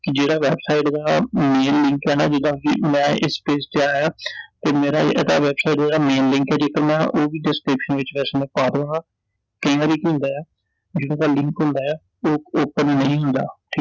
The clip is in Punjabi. ਜਿਹੜਾ website ਦਾ main link ਐ ਨਾ ਜਿਦਾਂ ਕਿ ਮੈਂ ਇਸ page ਤੇ ਆਇਆ ਤੇ ਮੇਰਾ ਇਹਦਾ website ਦਾ main link ਐ ਜੇਕਰ ਨਾ ਉਹ ਵੀ description ਵਿਚ ਵੈਸੇ ਮੈਂ ਪਾ ਦਵਾ I ਕਈ ਵਾਰੀ ਕੀ ਹੁੰਦਾ ਏ ਐ ਜਿਹੜਾ ਇਹਦਾ link ਹੁੰਦਾ ਏ ਐ ਉਹ open ਹੀ ਨਹੀਂ ਹੁੰਦਾ